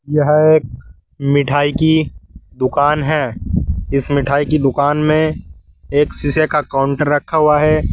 यह एक मिठाई की दुकान है इस मिठाई की दुकान में एक शीशे का काउंटर रखा हुआ है।